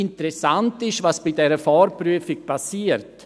Interessant ist, was bei dieser Vorprüfung geschieht: